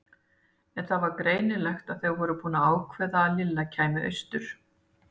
En það var greinilegt að þau voru búin að ákveða að Lilla kæmi austur.